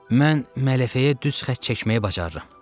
Mən mələfəyə düz xətt çəkməyi bacarıram.